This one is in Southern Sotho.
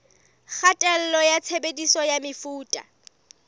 kgatello ya tshebediso ya mefuta